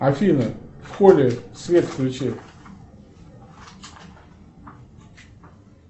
афина в холле свет включи